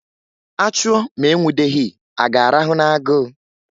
A chụọ ma e nwudeghi, a ga-arahụ n'agụ?